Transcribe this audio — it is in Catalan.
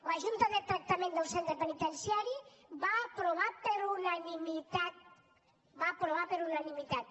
la junta de tractament del centre penitenciari ho va aprovar per unanimitat ho va aprovar per unanimitat